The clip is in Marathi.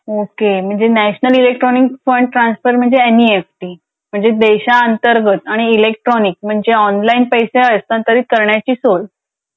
ओके म्हणजे national electronic on transfer fund transfer म्हणजे अन इ एफ टी म्हणजे देशांतर्गत इलेक्ट्रॉनिक म्हणजे ऑनलाईन पैसे हस्तांतरित करण्याची सोय.